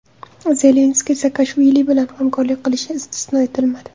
Zelenskiy Saakashvili bilan hamkorlik qilishi istisno etilmadi.